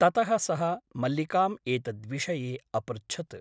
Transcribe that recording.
ततः सः मल्लिकाम् एतद्विषये अपृच्छत् ।